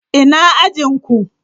Ina ajin ku?